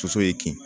Soso ye kin